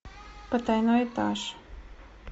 потайной этаж